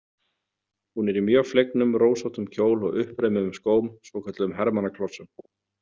Hún er í mjög flegnum, rósóttum kjól og uppreimuðum skóm, svokölluðum hermannaklossum.